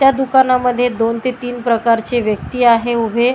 त्या दुकानांमध्ये दोन ते तीन प्रकारची व्यक्ती आहे उभी.